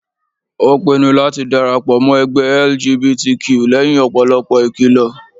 Ó pinnu láti dára pọ̀ mọ́ ẹgbẹ́ LGBTQ lẹ́yìn ọ̀pọ̀lọpọ̀ ìkìlọ